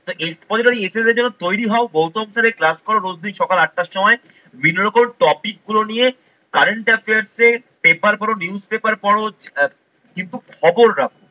তা expository essay এর জন্য তৈরি হও গৌতম স্যারের ক্লাস করো রোজদিন সকাল আটটার সময়। বিভিন্ন রকম topic গুলো নিয়ে current affairs এর পেপারগুলো news paper পড়ো আহ কিন্তু খবর রাখো।